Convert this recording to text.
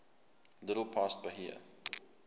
little past bahia